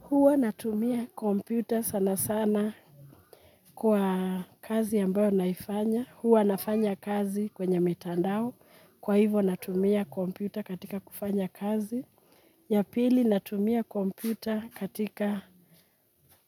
Huwa natumia kompyuta sana sana kwa kazi ambayo naifanya. Huwa nafanya kazi kwenye mitandao. Kwa hivo natumia kompyuta katika kufanya kazi. Ya pili, natumia kompyuta katika